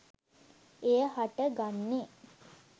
එය හට ගන්නේ